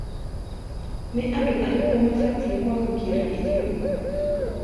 Nĩ andũ arĩkũ mabatiĩ kwamũkĩra irio?